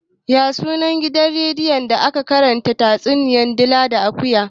Ya sunan gidan rediyon da ake karanta tatsuniyar dila da akuya?